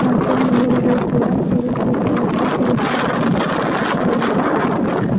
ಮತ್ತು ಮೇಲೆಗಡೆ ಕೂಡ ಸಿಲ್ಕ್ ವಿಜಯಲಕ್ಷ್ಮಿ ಸಿಲ್ಕ್ ಹೌಸ ಎಂದು ಗೋಡೆಗೆ ಬರೆದಿದ್ದಾ --